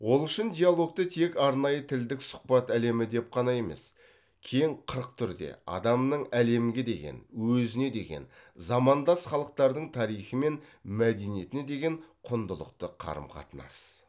ол үшін диалогты тек арнайы тілдік сұхбат әлемі деп қана емес кең қырық түрде адамның әлемге деген өзіне деген замандас халықтардың тарихы мен мәдениетіне деген құндылықты қарым қатынас